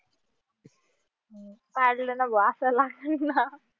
पाडलं ना व असं लागलं ना